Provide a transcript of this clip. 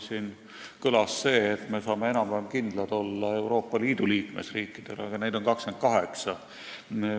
Siin kõlas väide, et me saame enam-vähem kindlad olla Euroopa Liidu riikidele, aga neid on ainult 28.